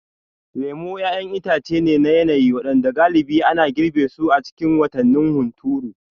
Lemu ƴaƴan itace ne na yanayi waɗanda galibi ana girbe su a cikin watannin hunturu.